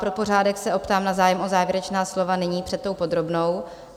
Pro pořádek se optám na zájem o závěrečná slova nyní před podrobnou?